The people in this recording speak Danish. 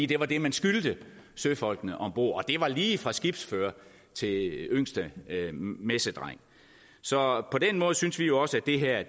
det var det man skyldte søfolkene om bord og det var lige fra skibsfører til yngste messedreng så på den måde synes vi også at det her